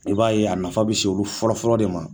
I b'a ye a nafa bɛ se olu fɔlɔ fɔlɔ de ma.